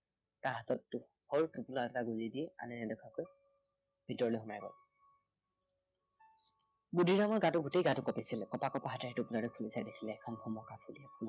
সৰু টোপোলা এটা গুজি দি আনে নেদেখাকৈ, ভিতৰলৈ সোমাই গল বুদ্ধিৰামৰ গাটো গোটেই গাটো কঁপিছিলে। কঁপা কঁপা হাতেৰে সি খুলি চাই দেখিলে এখন ভমকা ফুলীয়া